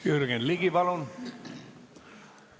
Jürgen Ligi, palun!